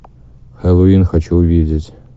хэллоуин хочу увидеть